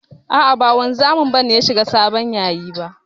A'a ba wanzami ba ne ya shiga sabon yayi ba.